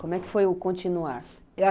Como é que foi o continuar?